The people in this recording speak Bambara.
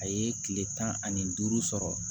A ye kile tan ani duuru sɔrɔ